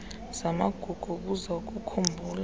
zamagugu obuzwe ukukhumbula